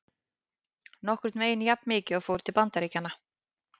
Nokkurn veginn jafnmikið fór til Bandaríkjanna.